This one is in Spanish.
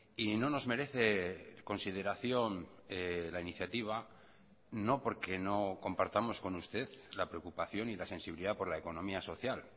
y no nos merece consideración la iniciativa no porque no compartamos con usted la preocupación y la sensibilidad por la economía social